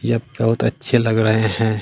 यह बहुत अच्छे लग रहे हैं।